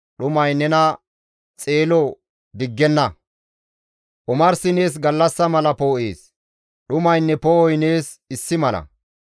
dhumay nena xeelo diggenna; omarsi nees gallassa mala poo7ees; dhumaynne poo7oy nees issi mala.